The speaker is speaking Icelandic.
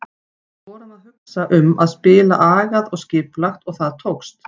Við vorum að hugsa um að spila agað og skipulagt og það tókst.